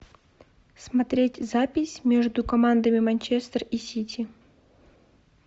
смотреть запись между командами манчестер и сити